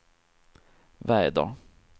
väder